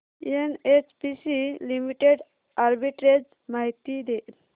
NHPC limited arbitrage माहिती दे